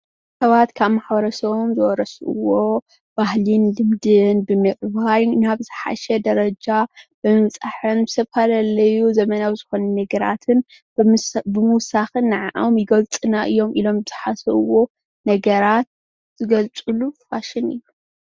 ሰባት ካብ ማሕበረሰቦም ዝወረስዎ ባህልን ልምድን ብምዕባይ ናብ ዝሓሸ ደረጃ ብምብፃሕን ዝተፈላለዩ ዘመናዊ ዝኮኑ ነገራትን ብምውሳክን ንዐኦም ይገልፁና እዮም ኢሎም ዝሓስብዎ ነገራት ዝገልፅሉ ፋሽን እዩ፡፡